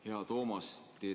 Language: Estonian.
Hea Toomas!